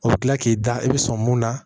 O bɛ kila k'i da i bɛ sɔn mun na